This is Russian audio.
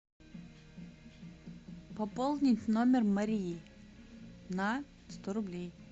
пополнить номер марии на сто рублей